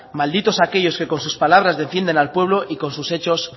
malditos aquellos que con sus palabras defienden al pueblo y con sus hechos